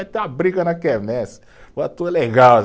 Vai ter uma briga na quermesse,